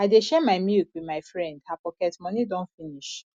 i dey share my milk wit my friend her pocket moni don finish